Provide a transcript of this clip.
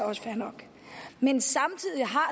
også fair nok men samtidig har